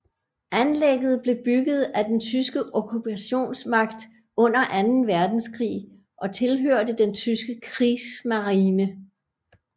Anlægget blev bygget af den tyske okkupationsmagt under anden verdenskrig og tilhørte den tyske Kriegsmarine